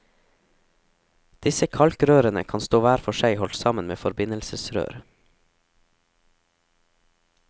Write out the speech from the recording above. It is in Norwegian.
Disse kalkrørene kan stå hver for seg holdt sammen med forbindelsesrør.